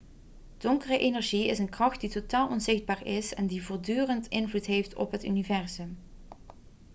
donkere energie is een kracht die totaal onzichtbaar is en die voortdurend invloed heeft op het universum